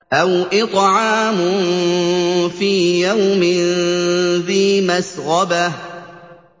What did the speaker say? أَوْ إِطْعَامٌ فِي يَوْمٍ ذِي مَسْغَبَةٍ